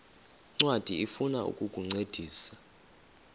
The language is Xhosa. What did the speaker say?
ncwadi ifuna ukukuncedisa